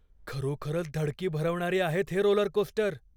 खरोखरच धडकी भरवणारे आहेत हे रोलरकोस्टर.